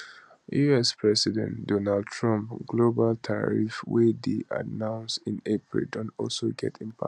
us president donald trump global tariffs wey dey announced in april don also get impact